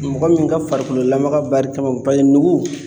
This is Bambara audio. Mɔgɔ min ka farikolo lamaga barika ma paseke nugu